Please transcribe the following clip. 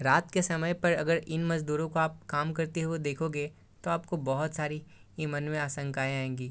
रात के समय पर अगर इन मजदूरों को आप काम करते हुए देखोगे तो आपको बहुत सारी इ मन में आशाएं आएँगी |